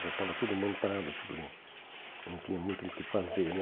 Já tava tudo montado, tudo né... Não tinha muito o que fazer, né?